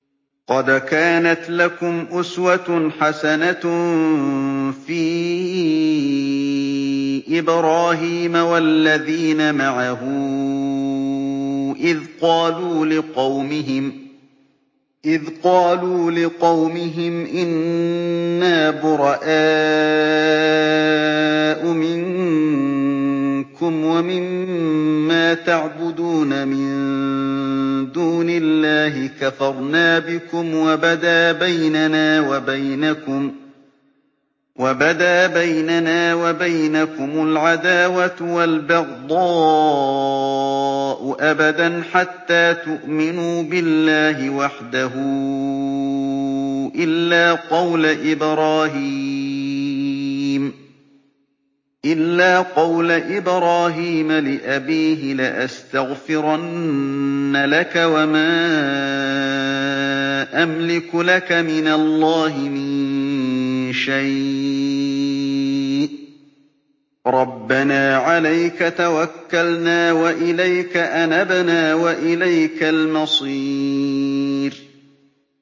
قَدْ كَانَتْ لَكُمْ أُسْوَةٌ حَسَنَةٌ فِي إِبْرَاهِيمَ وَالَّذِينَ مَعَهُ إِذْ قَالُوا لِقَوْمِهِمْ إِنَّا بُرَآءُ مِنكُمْ وَمِمَّا تَعْبُدُونَ مِن دُونِ اللَّهِ كَفَرْنَا بِكُمْ وَبَدَا بَيْنَنَا وَبَيْنَكُمُ الْعَدَاوَةُ وَالْبَغْضَاءُ أَبَدًا حَتَّىٰ تُؤْمِنُوا بِاللَّهِ وَحْدَهُ إِلَّا قَوْلَ إِبْرَاهِيمَ لِأَبِيهِ لَأَسْتَغْفِرَنَّ لَكَ وَمَا أَمْلِكُ لَكَ مِنَ اللَّهِ مِن شَيْءٍ ۖ رَّبَّنَا عَلَيْكَ تَوَكَّلْنَا وَإِلَيْكَ أَنَبْنَا وَإِلَيْكَ الْمَصِيرُ